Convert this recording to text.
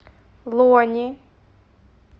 лони